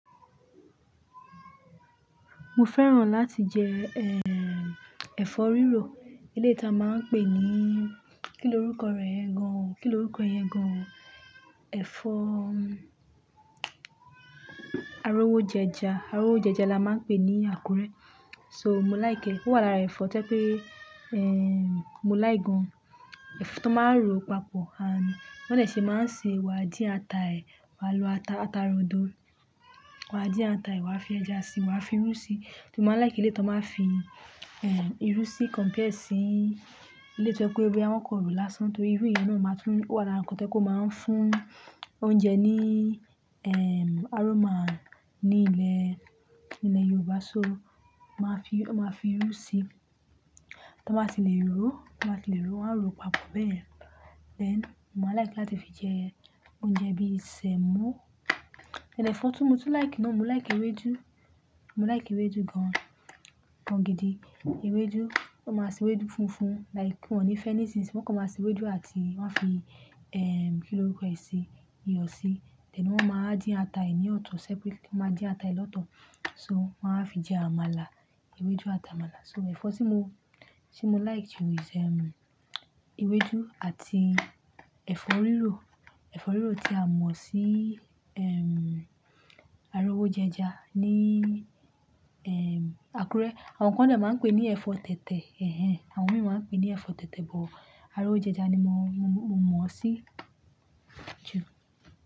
Mo fẹ́ràn láti jẹ, eh, ẹ̀fọ́ rírò. Eléyìí ta máa ń pè ní, kí l'orúkọ rẹ̀ yen gan-an? Kí l'orúkọ yẹn gan-an? Ẹ̀fọ́ arówójẹja. Árówójẹja la máa ń pè ní Àkúrẹ́. So mo like è. Ó wà lára ẹ̀fọ́ tó jé pé, eh, mo like gan. Ẹ̀fọ́ tán máa ń ro papọ̀, and bí wọ́n dè ṣe máa ń ṣe, wà dín ata ẹ, wà lo ata, ata rodo. Wà dín ata ẹ, wà fi ẹja sí, wà fi irú sí. Tí mo máa ń likẹ́ eléyìí tan máa ń fi, irú sí compared sí eléyìí tí o jẹ pé bóyá wọ́n kàn rò lásán. Torí irú yẹn náà máa ń tún, ó wà lára ǹkan tí o jẹ pé o máa ń fún oúnjẹ ní, eh, aroma ní ilẹ̀, ní ilẹ̀ Yorùbá. So máa fi, wọ́n máa fi irú sí i. Tí wọ́n bá ti lè ro, tí wọ́n bá ti lè ro, wọ́n á ro papọ̀ báyen Then mo máa ń like láti fi jẹ oúnjẹ bí sèmọ́. Then ẹ̀fọ́ tí mo tún like náà, mo like ewédú. Mo like ewédú gan-an, gan gidi. Ewédú, wọ́n máa ṣe ewédú funfun like wọ́n ní fi anything si. Wọ́n kàn máa ṣe ewédú àti wọ́n á fi, eh, kí l'orúkọ ẹ sí i? Iyọ̀ si. Then wọ́n ma wá dín ata ẹ ní ọ̀tọ̀ separate. Wọ́n ma dín ata ẹ lọ́tọ̀. So wọ́n á fi jẹ àmàlà, ewédú àti àmàlà. So ẹ̀fọ́ tí mo, tí mo like jù ìṣ ewédú àti ẹ̀fọ́ rírò. Èfọ́ rírò tí a mọ̀ sí arówójẹja ní Àkúrẹ́. Àwọn kan dè máa ń pè ní ẹ̀fọ́ tẹ̀tẹ̀. Ẹ̀hẹn. Àwọn mìíràn máa ń pè ní ẹ̀fọ́ tẹ̀tẹ̀, but arówójẹja ni mo mọ̀ sí jù.